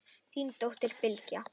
Þín dóttir, Bylgja.